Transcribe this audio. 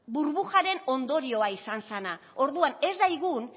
burbujaren ondorioa izan zana orduan ez daigun